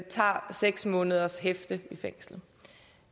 tager seks måneders hæfte i fængsel